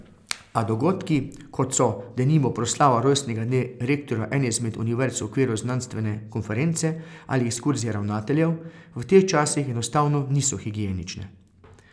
A dogodki, kot so, denimo, proslava rojstnega dne rektorja ene izmed univerz v okviru znanstvene konference ali ekskurzije ravnateljev, v teh časih enostavno niso higienične.